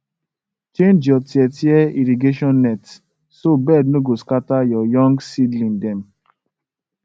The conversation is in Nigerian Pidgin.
change any tear tear irrigation net so bird no go scatter your young seedling dem